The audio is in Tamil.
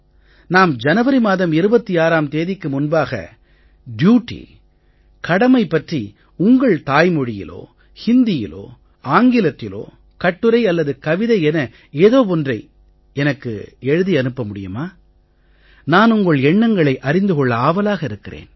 நாம் ஜனவரி மாதம் 26ம் தேதிக்கு முன்பாக டியூட்டி கடமை பற்றி உங்கள் தாய்மொழியிலோ ஹிந்தியிலோ ஆங்கிலத்திலோ கட்டுரை அல்லது கவிதை என ஏதோ ஒன்றை எனக்கு எழுதி அனுப்ப முடியுமா நான் உங்கள் எண்ணங்களை அறிந்து கொள்ள ஆவலாக இருக்கிறேன்